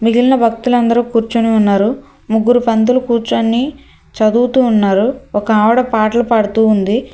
మిగిలిన భక్తులందరూ కూర్చోని ఉన్నారు ముగ్గురు పంతులు కూర్చోన్ని చదువుతూ ఉన్నారు ఒక ఆవిడ పాటలు పాడుతూ ఉంది.